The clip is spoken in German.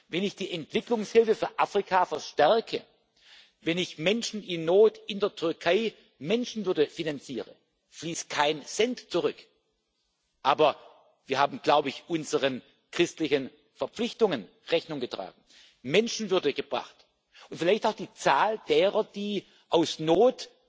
Wenn ich die Entwicklungshilfe für Afrika verstärke, wenn ich Menschen in Not in der Türkei Menschenwürde finanziere, fließt kein Cent zurück, aber wir haben, glaube ich, unseren christlichen Verpflichtungen Rechnung getragen, Menschenwürde gebracht und vielleicht auch die Zahl derer, die aus Not